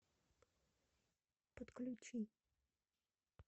подключи